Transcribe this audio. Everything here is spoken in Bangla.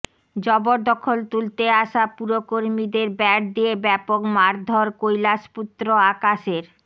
জবরদখল তুলতে আসা পুরকর্মীদের ব্যাট দিয়ে ব্যাপক মারধর কৈলাসপুত্র আকাশের